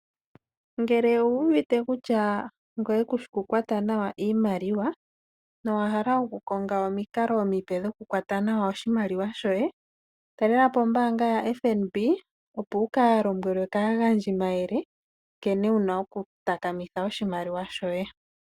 Ngele owu uvute kurya ngoye kushi okukwata iimaliwa ngoye nowahqlq okukongq omikalo omipe dhokukwata nawa oshimaliwa shoye, talela pobombaanga yoFNB opo wukalombwelwe kaagandjimayele nkene wuna okutakamitha oshimaliwa shoye.